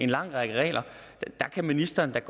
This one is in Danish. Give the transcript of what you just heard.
lang række regler ministeren kan